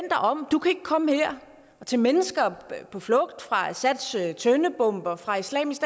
om du kan ikke komme her og til mennesker på flugt fra assads tøndebomber og fra islamisk